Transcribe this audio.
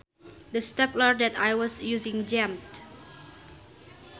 The stapler that I was using jammed